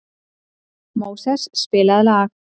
Móses, spilaðu lag.